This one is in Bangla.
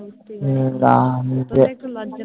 বুঝতেই পারিনি তবে একটু লজ্জা